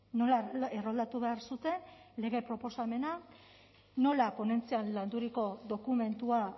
nola erroldatu behar zuten lege proposamena nola ponentzian landuriko dokumentua